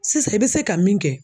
Sisan i bɛ se ka min kɛ